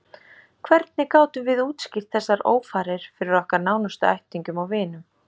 Hvernig gátum við útskýrt þessar ófarir fyrir okkar nánustu ættingjum og vinum?